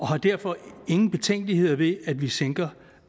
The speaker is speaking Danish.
har derfor ingen betænkeligheder ved at vi sænker